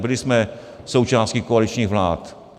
Byli jsme součástí koaličních vlád.